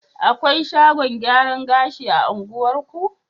Akwai shagon gyaran gashi a unguwarku?